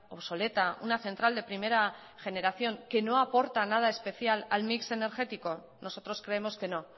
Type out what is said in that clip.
obsoleta una central de primera generación que no aporta nada especial al mix energético nosotros creemos que no